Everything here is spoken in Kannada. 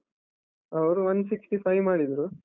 ಅವ್ರು one sixty five ಮಾಡಿದ್ರು.